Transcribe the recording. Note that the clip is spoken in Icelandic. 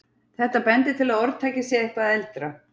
Þetta bendir til að orðtakið sé eitthvað eldra.